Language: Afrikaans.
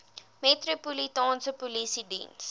metropolitaanse polisie diens